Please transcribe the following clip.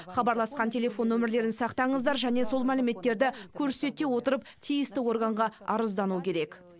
хабарласқан телефон номерлерін сақтаңыздар және сол мәліметтерді көрсете отырып тиісті органға арыздану керек